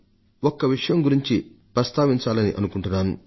ఒక్క విషయం గురించి ప్రస్తావించదల్చుకున్నాను